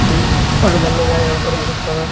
बहुत पर्दा लगा यहाँ पर बहुत सारा |